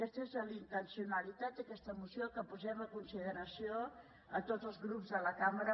aquesta és la intencionalitat d’aquesta moció que posem a consideració a tots els grups de la cambra